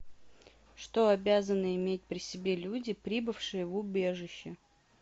что обязаны иметь при себе люди прибывшие в убежище